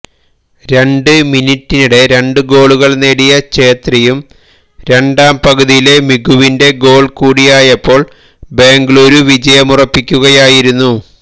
രണ്ട് മിനിട്ടിനിടെ രണ്ട് ഗോളുകള് നേടിയ ഛേത്രിയും രണ്ടാം പകുതിയിലെ മികുവിന്റെ ഗോള് കൂടിയായപ്പോള് ബെംഗലൂരു വിജയമുറപ്പിക്കുകയായിരുന്നു